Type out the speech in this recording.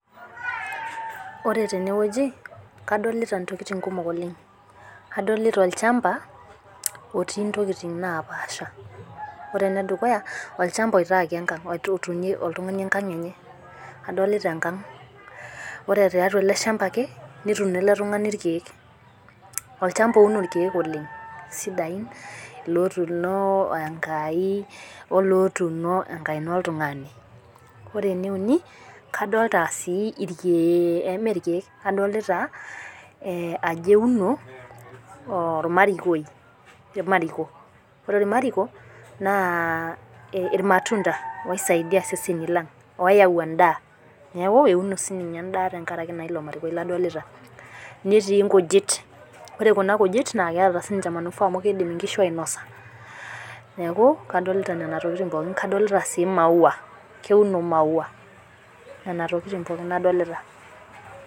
Ore teneweji kadolita intokitin kumok oleng'. Adolita olchamba looti intokitin napaasha. Ore enedukuya, olchamba loitaku enkang'. Olchamba lotutunye oltung'ani enkang'. Adolita enkang'. Ore tiatua ele shamba netuno olopeny irkeek. Olchamba ouno irkeek oleng' sidai n loo tuno enkai olotuno enkaina oltung'ani. Ore ene uni kadolita sii ikeek. Mee irkeek adolita ajo euno ormalrikoi, irmariko. Ore iramariko naa irmatunda oisaidia iseseni lang'. Oyau edaa neeku euno sii ninye edaa tenkaraki ilo marikoi ladolita neeti inkujit. Ore kuna kujit naa keeta sii ninche manufaa amu keidim inkishu ainosa neeku kadolita nena tokitin pookin kadolita sii maua keuno ii maua. Nena tokitin pookin adolita.